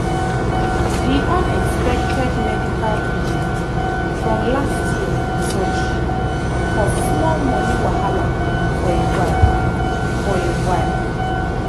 the unexpected medical bill from last year surgery cause small money wahala for a while. for a while.